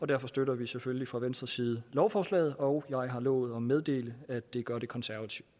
derfor støtter vi selvfølgelig fra venstres side lovforslaget og jeg har lovet at meddele at det gør det konservative